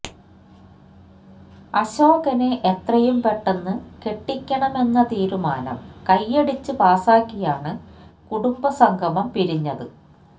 അശോകനെ എത്രയും പെട്ടെന്ന് കെട്ടിക്കണമെന്ന തീരുമാനം കൈയടിച്ച് പാസാക്കിയാണ് കുടുംബസംഗമം പിരിഞ്ഞത്